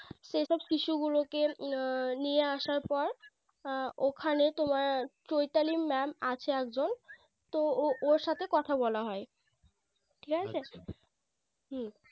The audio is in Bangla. সেই সব শিশু গুলোকে নিয়ে আসার পর ওখানে তোমার Choitali Mam আছে একজন তো ও~ ওর সাথে কথা বলা হয় ঠিক আছে হম